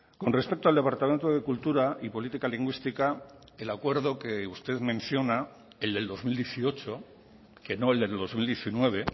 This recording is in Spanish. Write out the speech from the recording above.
con respecto al departamento de cultura y política lingüística el acuerdo que usted menciona el del dos mil dieciocho que no el del dos mil diecinueve